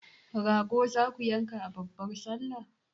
Rago zaku yanka a babbar sallah?